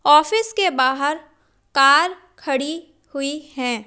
Office के बाहर car खड़ी हुई है।